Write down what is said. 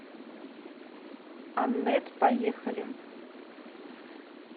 аннет поехали